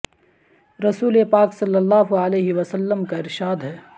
رسول پاک صلی اللہ علیہ و سلم کا ارشاد ہے